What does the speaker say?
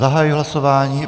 Zahajuji hlasování.